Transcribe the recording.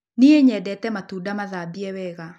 Niĩ nyendete matunda mathambie wega